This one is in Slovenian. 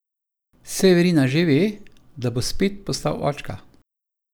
Severina že ve, da bo spet postal očka?